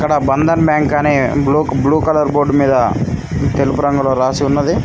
ఆ బంధన్ బ్యాంక్ అని blue colour board మీద తెలుపు రంగులో రాసి ఉన్నది.